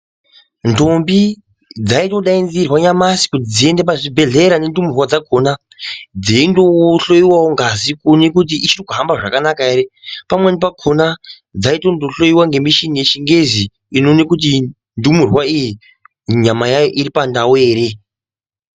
Ntombi dzayidedzerwa nyamashi dziyienda pachibedlera nendumurwa dzakona dziino hloyiwawo ngazi kuwonekwe kuti ichirikuhambe zvakanaka here. Pamweni pakona dzayi tonohloyiwa nemichini yechingezi inowone kuti ndumurwa iyi nyama yayo iri pandau here.